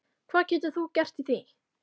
Hvað getur þú gert í því?